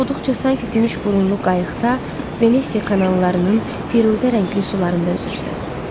Oxuduqca sanki gümüş burunlu qayıqda Venesia kanallarının firuzə rəngli sularında üzürsən.